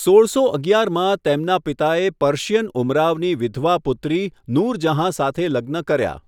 સોળસો અગિયારમાં, તેમના પિતાએ પર્શિયન ઉમરાવની વિધવા પુત્રી નૂરજહાં સાથે લગ્ન કર્યા.